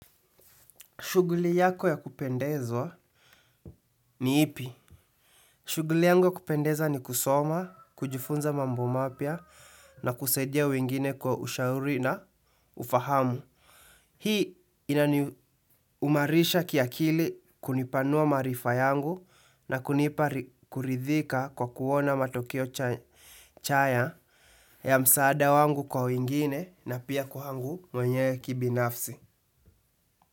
Shughuli yako ya kupendezwa ni ipi? Shughuli yangu kupendeza ni kusoma, kujifunza mambo mapya na kusaidia wengine kwa ushauri na ufahamu. Hii inani umarisha kiakili kunipanua maarifa yangu na kunipa kuridhika kwa kuona matokeo chaya ya msaada wangu kwa wengine na pia kwangu mwenyewe kibinafsi.